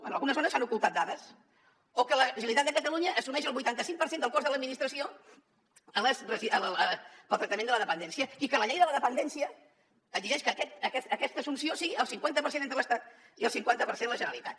en algunes zones s’han ocultat dades o que la generalitat de catalunya assumeix el vuitanta cinc per cent del cost de l’administració per al tractament de la dependència i que la llei de la dependència exigeix que aquesta assumpció sigui el cinquanta per cent l’estat i el cinquanta per cent la generalitat